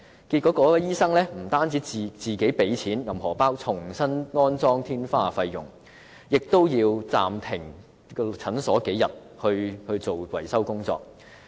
結果該名醫生不但要自資重新安裝天花的費用，診所也要暫停營業數天，進行維修工作。